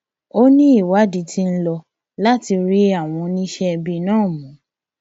ó ní ìwádìí tí ń lò láti rí àwọn oníṣẹẹbí náà mú